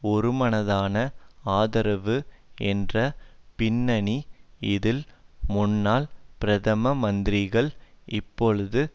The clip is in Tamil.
ஒருமனதான ஆதரவு என்ற பின்னணி இதில் முன்னாள் பிரதம மந்திரிகள் இப்பொழுது